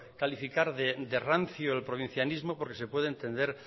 calificar de rancio el provincianismo porque se puede